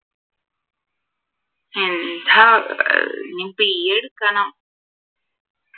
എന്താ ഏർ ഇനി BA എടുക്കണം